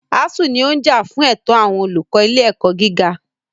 ASUU ní ó ń jà fún ẹ̀tọ́ àwọn olùkọ́ ilé ẹ̀kọ́ gíga.